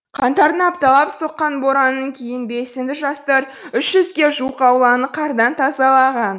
қаңтардың апталап соққан боранынан кейін белсенді жастар үш жүзге жуық ауланы қардан тазалаған